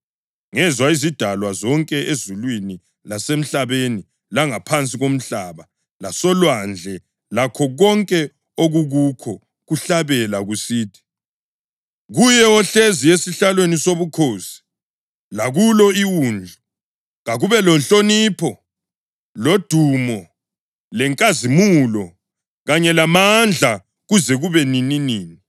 Ngezwa izidalwa zonke ezulwini lasemhlabeni langaphansi komhlaba lasolwandle lakho konke okukukho, kuhlabela kusithi: “Kuye ohlezi esihlalweni sobukhosi lakulo iWundlu kakube lenhlonipho lodumo lenkazimulo kanye lamandla kuze kube nininini!”